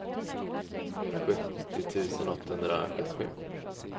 sjuttio tusen åttahundrasjuttiosju